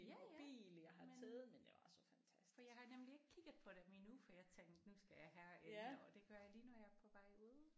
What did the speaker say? Ja ja men for jeg har nemlig ikke kigget på dem endnu for jeg tænkte nu skal jeg herind og det gør jeg lige når jeg er på vej ud